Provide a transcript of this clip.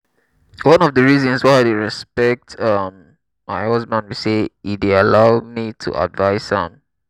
uju and ada dey ada dey always go school together the two of dem dey unbreakable